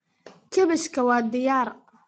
Kaabashka waa diyaar.